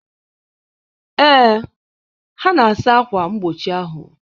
Ee, ha na-asa akwa mgbochi ahụ.